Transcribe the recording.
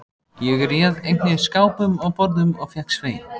Ég réð einnig skápum og borðum og fékk Svein